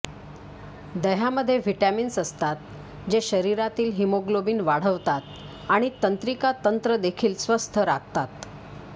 दह्यामध्ये vitamins असतात जे शरीरातील हिमोग्लोबिन वाढवतात आणि तंत्रिका तंत्र देखील स्वस्थ राखतात